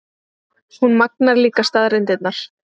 Hún magnar líka staðreyndirnar.